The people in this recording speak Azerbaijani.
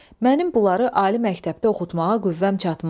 Mənim bunları ali məktəbdə oxutmağa qüvvəm çatmaz.